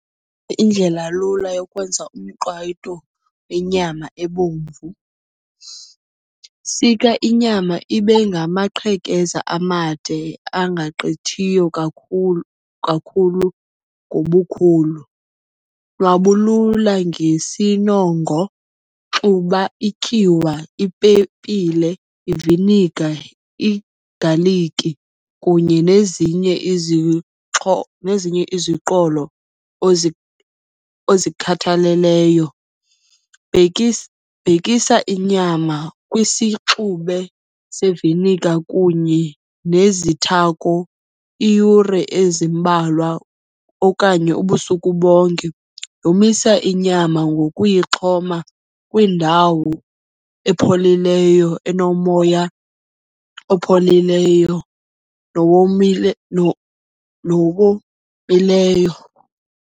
Indlelalula yokwenza umqwayito wenyama ebomvu. Sika inyama ibe ngamaqhekeza amade angagqithiyo kakhulu ngobukhulu. Nwabulula ngesinongo, xuba ityuwa, ipepile, iviniga, igaliki kunye nezinye nezinye iziqholo ozikhathaleleyo. Bhekisa inyama kwisixube sevinika kunye nezithako iiyure ezimbalwa okanye ubusuku bonke. Yomisa inyama ngokuyixhoma kwindawo epholileyo, enomoya opholileyo nowomileyo.